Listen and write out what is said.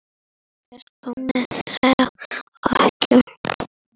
Til þess kom þó ekki.